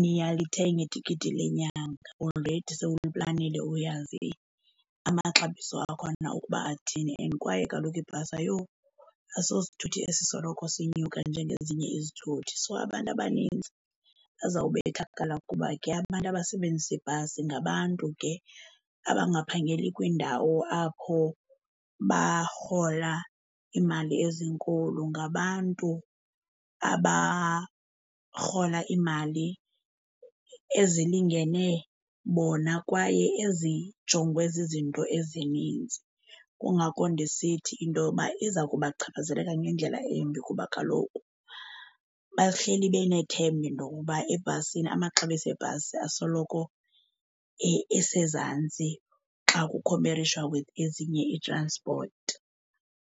niyalithenga itikiti lenyanga. Already sewuliplanile uyazi amaxabiso akhona ukuba athini and kwaye kaloku ibhasi asosithuthi esisoloko sinyuka njengezinye izithuthi. So abantu abanintsi bazawubethakala kuba ke abantu abasebenzisa ibhasi ngabantu ke abangaphangeli kwiindawo apho barhola iimali ezinkulu. Ngabantu abarhola iimali ezilingene bona kwaye ezijongwe zizinto ezininzi. Kungako ndisithi into yoba iza kuba chaphazeleka ngendlela embi kuba kaloku bahleli benethemba into uokuba ebhasini amaxabiso ebhasi asoloko esezantsi xa kukhomperishwa with ezinye ii-transport.